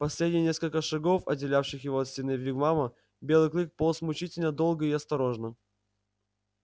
последние несколько шагов отделявших его от стены вигвама белый клык полз мучительно долго и осторожно